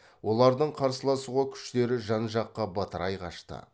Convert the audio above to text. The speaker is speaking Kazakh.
олардың қарсыласуға күштері жан жаққа бытырай қашты